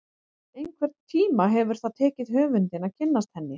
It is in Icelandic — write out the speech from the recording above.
Einhvern tíma hefur það tekið höfundinn að kynnast henni.